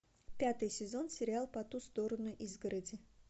пятый сезон сериал по ту сторону изгороди